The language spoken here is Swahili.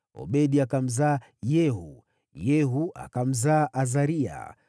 Obedi akamzaa Yehu, Yehu akamzaa Azaria,